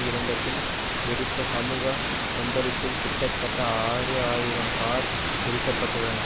இறந்தபின் வெடித்த சமூக கொந்தளிப்பில் கிட்டத்தட்ட ஆறு ஆயிரம் கார் எரிக்கப்பட்டுள்ளன